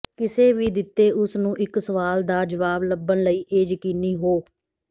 ਕਿਸੇ ਵੀ ਦਿੱਤੇ ਉਸ ਨੂੰ ਇੱਕ ਸਵਾਲ ਦਾ ਜਵਾਬ ਲੱਭਣ ਲਈ ਇਹ ਯਕੀਨੀ ਹੋ